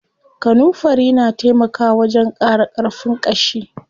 Kanunfari na taimaka wajen ƙara ƙarfin ƙashi.